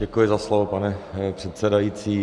Děkuji za slovo, pane předsedající.